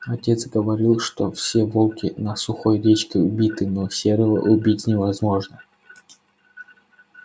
отец говорил что все волки на сухой речке убиты но серого убить невозможно